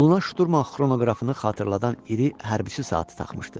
Qoluna şturm xronoqrafını xatırladan iri hərbçi saatı taxmışdı.